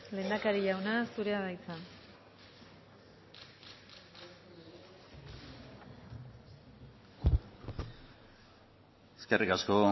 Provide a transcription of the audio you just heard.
lehendakari jauna zurea da hitza eskerrik asko